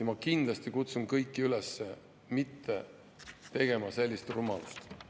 Ma kindlasti kutsun kõiki üles mitte tegema sellist rumalust.